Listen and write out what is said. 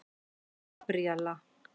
Gabríella